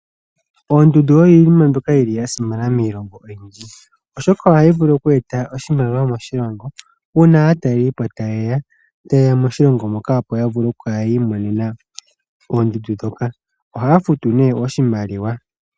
Oondundu oyo iinima mbyoka yi li ya simana miilongo oyindji, oshoka ohayi vulu oku eta oshimaliwa moshilongo uuna aatalelipo taye ya moshilongo moka. Opo ya vule okukala ya imonena oondundu dhoka, ohaya futu nee oshimaliwa.